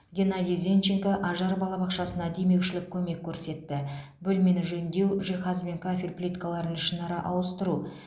геннадий зенченко ажар балабақшасына демеушілік көмек көрсетті бөлмені жөндеу жиһаз бен кафель плиткаларын ішінара ауыстыру